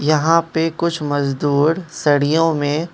यहां पे कुछ मजदूर सरियों में --